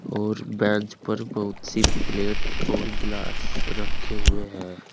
और बेंच पर बहुत सी प्लेट और गिलास रखे हुए हैं।